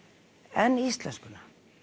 en íslenskuna